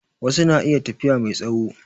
Wasu na iya tafiya mai tsawo